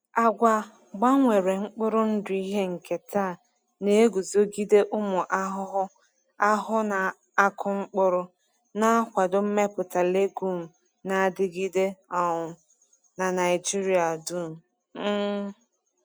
Agwa gbanwere mkpụrụ ndụ ihe nketa na-eguzogide ụmụ ahụhụ ahụhụ na-akụ mkpụrụ, na-akwado mmepụta legume na-adigide um n’Naijiria dum. um